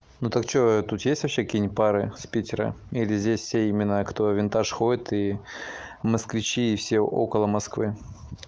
ну так что тут есть вообще какие-нибудь пары с питера или здесь все именно кто в винтаж ходят и москвичи и все около москвы